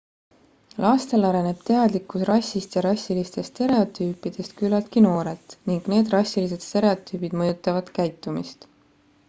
lastel areneb teadlikkus rassist ja rassilistest stereotüüpidest küllaltki noorelt ning need rassilised stereotüübid mõjutavad käitumist